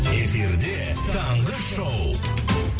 эфирде таңғы шоу